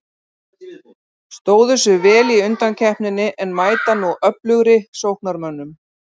Stóðu sig vel í undankeppninni en mæta nú öflugri sóknarmönnum.